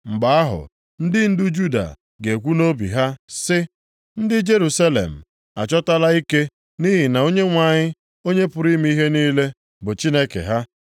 Mgbe ahụ, ndị ndu Juda ga-ekwu nʼobi ha sị, ‘Ndị Jerusalem achọtala ike nʼihi na Onyenwe anyị, Onye pụrụ ime ihe niile, bụ Chineke ha.’